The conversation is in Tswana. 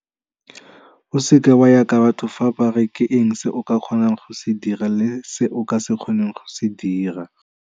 O seke wa ya ka batho fa ba re ke eng se o ka kgonang go se dira le se o ka se kgoneng go se dira.